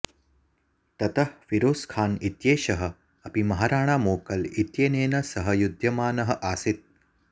ततः फीरोज खाँ इत्येषः अपि महाराणा मोकल इत्येनेन सह युध्यमानः आसीत्